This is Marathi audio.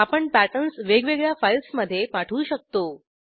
आपण पॅटर्न्स वेगवेगळ्या फाईल्स मधे पाठवू शकतो